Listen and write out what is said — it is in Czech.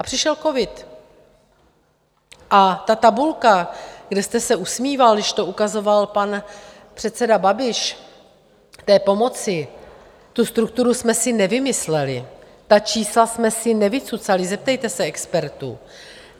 A přišel covid a ta tabulka, kde jste se usmíval, když to ukazoval pan předseda Babiš, té pomoci, tu strukturu jsme si nevymysleli, ta čísla jsme si nevycucali, zeptejte se expertů.